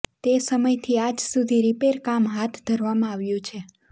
તે સમયથી આજ સુધી રિપેર કામ હાથ ધરવામાં આવ્યું છે